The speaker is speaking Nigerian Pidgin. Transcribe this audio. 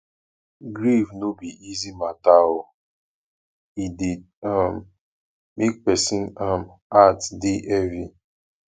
grief no be easy mata o e dey um make person um heart dey heavy